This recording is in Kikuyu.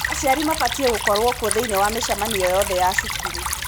Aciari mabatiĩ gukorwo kuo thĩiniĩ wa mĩcemanio yothe ya cukuru.